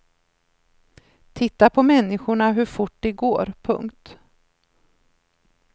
Titta på människorna hur fort de går. punkt